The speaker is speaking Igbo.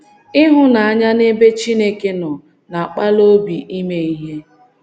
Ịhụnanya n’ebe Chineke nọ na - akpali obi ime ihe.